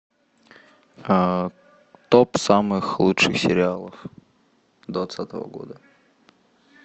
топ самых лучших сериалов двадцатого года